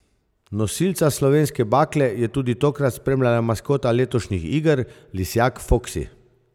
Nosilca slovenske bakle je tudi tokrat spremljala maskota letošnjih iger, lisjak Foksi.